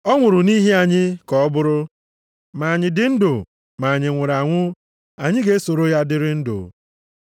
Ọ nwụrụ nʼihi anyị ka ọ bụrụ, ma anyị dị ndụ ma anyị nwụrụ anwụ, anyị ga-esoro ya dịrị ndụ.